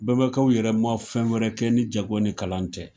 Bɛbɛkaw yɛrɛma fɛn wɛrɛ kɛn ni jago ni kalan tɛ .